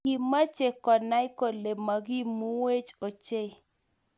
Kimache konai kole makimuech ochei